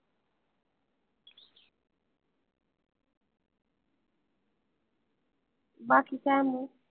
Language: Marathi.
बाकी काय मग?